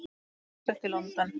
Búsett í London.